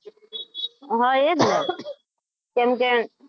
હા એ જ ને જેમ કે,